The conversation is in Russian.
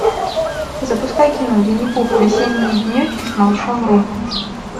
запускай кино винни пух весенние денечки с малышом ру